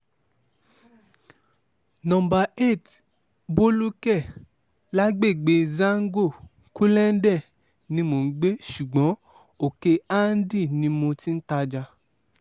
no eight bólúkè lágbègbè zàngó-kulenden ni mò ń gbé ṣùgbọ́n òkè-andí ni mo ti ń tajà